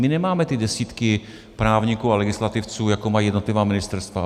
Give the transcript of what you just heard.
My nemáme ty desítky právníků a legislativců, jako mají jednotlivá ministerstva.